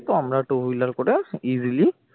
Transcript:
তো আমরা two wheeler করে easily